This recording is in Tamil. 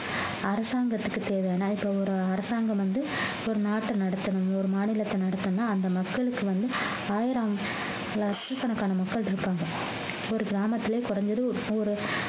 அரசாங்கத்துக்கு தேவைன்னா இப்ப ஒரு அரசாங்கம் வந்து ஒரு நாட்டை நடத்தணும் ஒரு மாநிலத்தை நடத்தணும்ன்னா அந்த மக்களுக்கு வந்து ஆயிரம் லட்சக்கணக்கான மக்கள் இருக்காங்க ஒவ்வொரு கிராமத்திலும் குறைஞ்சது ஒரு